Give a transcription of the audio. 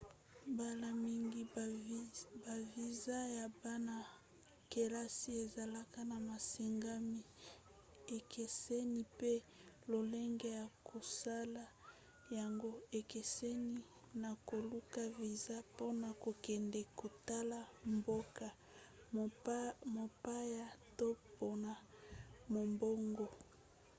mbala mingi baviza ya bana-kelasi ezalaka na masengami ekeseni mpe lolenge ya kosala yango ekeseni na koluka viza mpona kokende kotala mboka mopaya to mpona mombongo